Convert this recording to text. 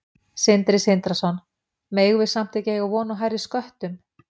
Sindri Sindrason: Megum við samt ekki eiga von á hærri sköttum?